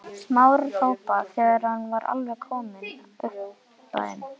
Smára hrópa þegar hann var kominn alveg upp að þeim.